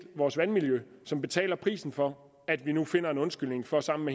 vores vandmiljø som betaler prisen for at vi nu finder en undskyldning for sammen at